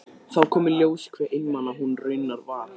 Þá kom í ljós hve einmana hún raunar var.